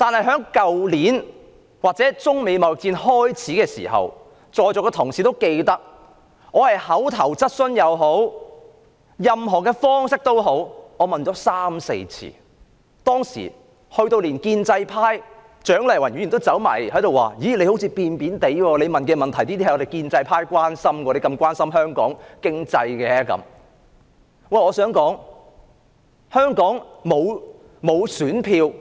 去年中美貿易戰開始之時，在座的同事諒必記得，我以口頭質詢或其他方式提問三四次，連建制派的蔣麗芸議員也對我說，我好像有點轉變，我提出的問題是建制派關心的，為何我那麼關心香港的經濟。